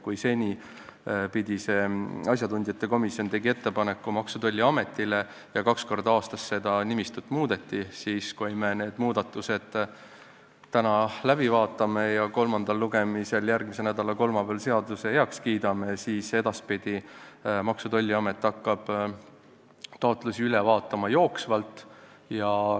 Kui seni tegi see asjatundjate komisjon ettepaneku Maksu- ja Tolliametile ja kaks korda aastas seda nimistut muudeti, siis kui me need muudatused täna läbi vaatame ja järgmise nädala kolmapäeval kolmandal lugemisel seaduseelnõu heaks kiidame, hakkab Maksu- ja Tolliamet edaspidi taotlusi üle vaatama jooksvalt.